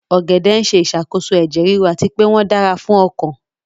Ogede n ṣe isakoso ẹjẹ riru ati pe wọn dara fun ọkan